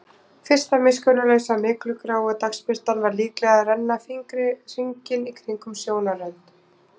Fyrsta miskunnarlausa og myglugráa dagsbirtan var líklega að renna fingri hringinn í kringum sjónarrönd.